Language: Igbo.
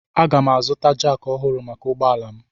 Aga m azụta jakị ọhụrụ maka ụgbọ ala m.